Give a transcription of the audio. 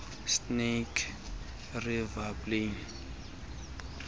snake river plain